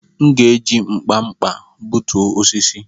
M'gēji nkpa-nkpa b͕utu osisi.